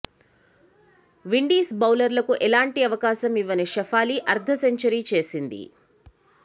Windies బౌలర్లకు ఎలాంటి అవకాశం ఇవ్వని షెఫాలి అర్ధ సెంచరీ చేసింది